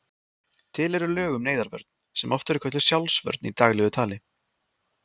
Til eru lög um neyðarvörn sem oft er kölluð sjálfsvörn í daglegu tali.